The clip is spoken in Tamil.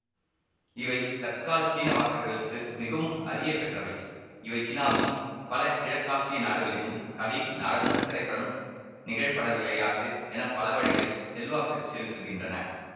இவை தற்கால சீன வாசகர்களுக்கு மிகவும் அறியப்பெற்றவை இவை சீனாவிலும் பல கிழக்காசிய நாடுகளிலும் கதை நாடகம் திரைப்படம் நிகழ்படவிளையாட்டு என பல வழிகளில் செல்வாக்கு செலுத்துகின்றன